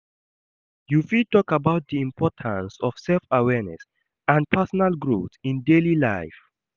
You fit talk about di importance of self-awareness and personal growth in daily life.